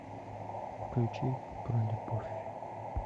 включи про любовь